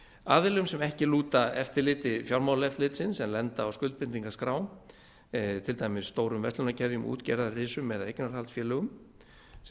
aðilum sem ekki lúta eftirliti fjármálaeftirlitsins en lenda á skuldbindingaskrám til dæmis stórum verslunarkeðjum útgerðarrisum eða eignarhaldsfélögum sem